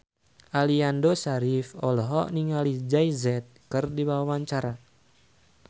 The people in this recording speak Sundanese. Aliando Syarif olohok ningali Jay Z keur diwawancara